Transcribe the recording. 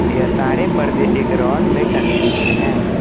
यह सारे परदे एक रॉड में टंगे हुए हैं।